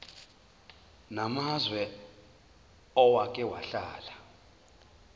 namazwe owake wahlala